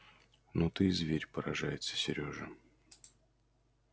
ну ты и зверь поражается серёжа